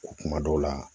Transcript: Kuma dɔw la